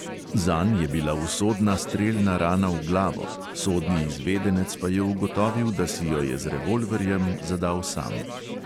Zanj je bila usodna strelna rana v glavo, sodni izvedenec pa je ugotovil, da si jo je z revolverjem zadal sam.